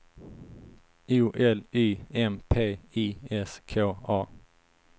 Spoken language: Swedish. O L Y M P I S K A